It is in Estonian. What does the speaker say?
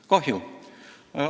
Kahju!